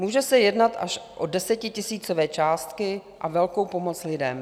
Může se jednat až o desetitisícové částky a velkou pomoc lidem.